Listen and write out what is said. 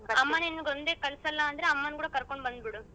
ಅಮ್ಮ ನಿನ್ ಒಂದೇ ಕಲ್ಸಲ್ಲ ಅಂದ್ರೆ ಅಮ್ಮ ಕೂಡ ಕರ್ಕೊಂಡ್ ಬಂದ್ಬಿಡು.